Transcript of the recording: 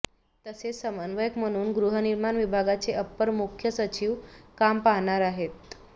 तसेच समन्वयक म्हणून गृहनिर्माण विभागाचे अपर मुख्य सचिव काम पाहणार आहेत